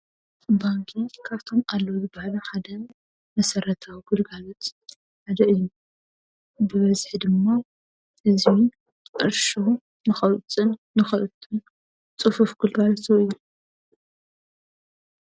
ባንኪ ካብቶም አለዉ ዝበሃሉ ሓደ መሰረታዊ ግልጋሎት ሓደ እዩ። ብበዝሒ ድማ ህዝቢ ቅርሹ ንከውፅእን ንኸእቱን ፅፉፍ ግልጋሎት ዝህብ እዩ።